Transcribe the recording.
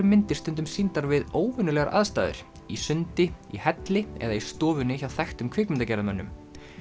myndir stundum sýndar við óvenjulegar aðstæður í sundi í helli eða í stofunni hjá þekktum kvikmyndagerðarmönnum